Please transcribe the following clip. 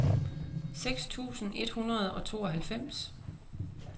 seks tusind et hundrede og tooghalvfems